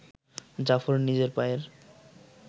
জাফর নিজের পায়ের